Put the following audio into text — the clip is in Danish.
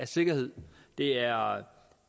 sikkerhed det er